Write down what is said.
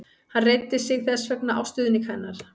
Hann reiddi sig þess vegna á stuðning hennar.